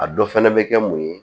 A dɔ fɛnɛ bɛ kɛ mun ye